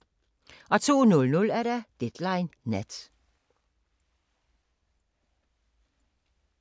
02:00: Deadline Nat